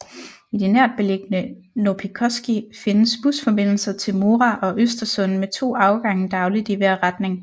I det nærtbeliggende Noppikoski findes busforbindelser til Mora og Östersund med to afgange dagligt i hver retning